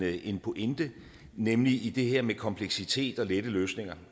en pointe nemlig i det her med kompleksitet og lette løsninger